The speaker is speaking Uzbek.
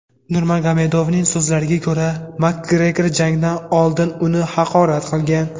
Nurmagomedovning so‘zlariga ko‘ra, Makgregor jangdan oldin uni haqorat qilgan.